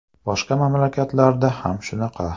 Boshqa mamlakatlarda ham shunaqa.